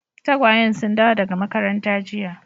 Tagwayen sun dawo daga makaranta jiya.